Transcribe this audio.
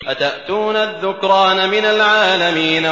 أَتَأْتُونَ الذُّكْرَانَ مِنَ الْعَالَمِينَ